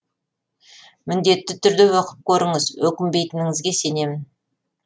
міндетті түрде оқып көріңіз өкінбейтініңізге сенемін